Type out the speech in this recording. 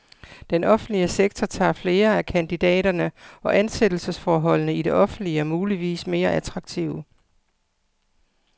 Den offentlige sektor tager flere af kandidaterne, og ansættelsesforholdene i det offentlige er muligvis mere attraktive.